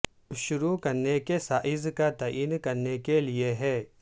شروع کرنے کے سائز کا تعین کرنے کے لئے ہے